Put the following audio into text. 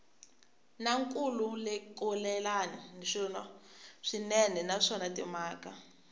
na nkhulukelano swinene naswona timhaka